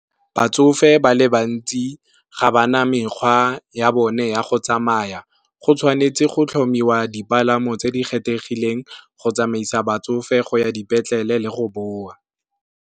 Batsofe ba le bantsi ga ba na mekgwa ya bone ya go tsamaya, go tshwanetse go tlhomiwa dipalamo tse di kgethegileng go tsamaisa batsofe go ya dipetlele le go boa.